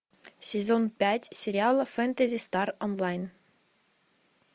сезон пять сериала фэнтези стар онлайн